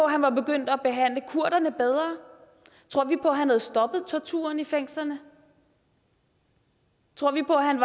at han var begyndt at behandle kurderne bedre tror vi på at han havde stoppet torturen i fængslerne tror vi på at han